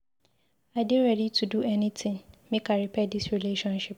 I dey ready to do anytin make I repair dis relationship.